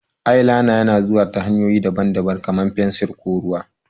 Eyeliner yana zuwa ta hanyoyi daban-daban, kamar fensir ko ruwa.